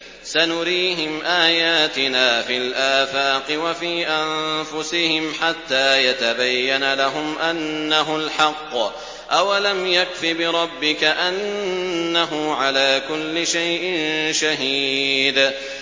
سَنُرِيهِمْ آيَاتِنَا فِي الْآفَاقِ وَفِي أَنفُسِهِمْ حَتَّىٰ يَتَبَيَّنَ لَهُمْ أَنَّهُ الْحَقُّ ۗ أَوَلَمْ يَكْفِ بِرَبِّكَ أَنَّهُ عَلَىٰ كُلِّ شَيْءٍ شَهِيدٌ